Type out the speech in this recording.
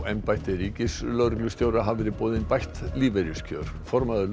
embætti ríkislögreglustjóra hafa verið boðin bætt lífeyriskjör formaður